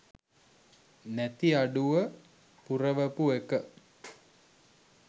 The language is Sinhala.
නැති අඩුව පුරවපු එක